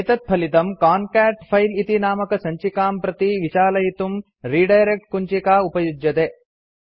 एतत्फलितम् कान्केट फिले इति नामकसञ्चिकां प्रति विचालयितुं रिडायरेक्ट् कुञ्चिका उपयुज्यते